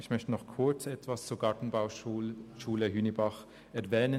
Ich möchte nun kurz etwas zur Gartenbauschule Hünibach anmerken.